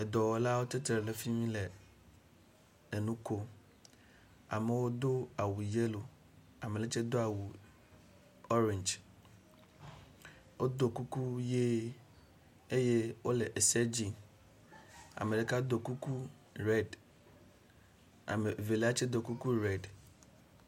edɔwɔlawo titre ɖe fimi le enukom amewo dó awu yelo aneɖetsɛ dó awu ɔrɛnj woɖó kuku yɛ eye wóle eseɖim ameɖeka dó kuku red amevelia tsɛ dó kuku red